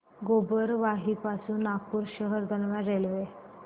गोबरवाही पासून नागपूर शहर दरम्यान रेल्वे